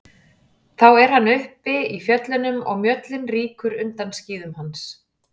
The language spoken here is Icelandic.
Þá er hann uppi í fjöllunum og mjöllin rýkur undan skíðum hans.